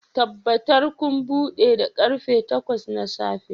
Tabbatar kun buɗe da karfe takwas na safe